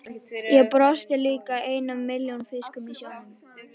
Ég brosti líka, einn af milljón fiskum í sjónum.